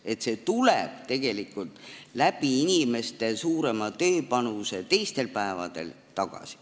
See raha tuleb tegelikult teistel päevadel inimeste tööpanuse kaudu tagasi.